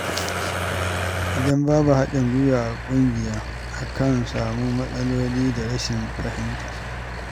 Idan babu haɗin gwiwa a ƙungiya, akan samu matsaloli da rashin fahimta.